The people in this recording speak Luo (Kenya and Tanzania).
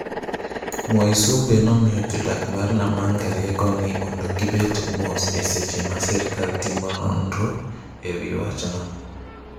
Mwaisumbe nomiyo jodak mag Namanga rieko ni mondo gibed mos e seche ma sirikal timo nonro ewi wachno.